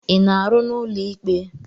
Ị na-arụ n'ụlọ ikpe?